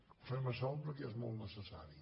ho fem a salt perquè és molt necessari